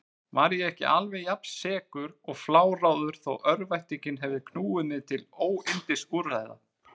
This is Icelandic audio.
Var ég ekki alveg jafnsekur og fláráður þó örvæntingin hefði knúið mig til óyndisúrræða?